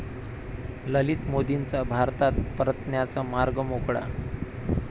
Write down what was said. ललित मोदींचा भारतात परतण्याचा मार्ग मोकळा